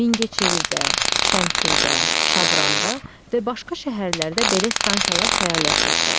Mingəçevirdə, Şəmkirdə, Şabranda və başqa şəhərlərdə belə stansiyalar fəaliyyət göstərir.